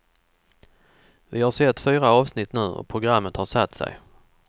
Vi har sett fyra avsnitt nu och programmet har satt sig.